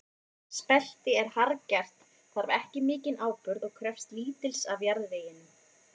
Spelti er harðgert, þarf ekki mikinn áburð og krefst lítils af jarðveginum.